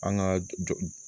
An ka joh